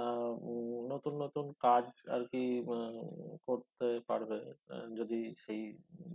এর উম নতুন নতুন কাজ আরকি আহ করতে পারবে আহ যদি সেই